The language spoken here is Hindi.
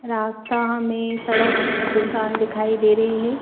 रास्ता हमें सड़क सून दिखाई दे रही है।